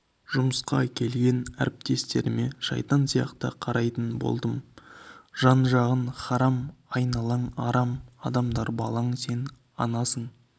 жұмысқа келгенде әріптестеріме шайтан сияқты қарайтын болдым жан жағың харам айналаң арам адамдар балаң сен анасың